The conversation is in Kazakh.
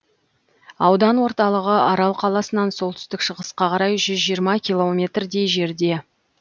аудан орталығы арал қаласынан солтүстік шығысқа қарай жүз жиырма километрдей жерде